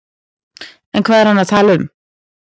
En hvað er hann að tala um?